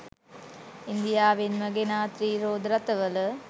ඉන්දියාවෙන්ම ගෙනා ත්‍රී රෝද රථවල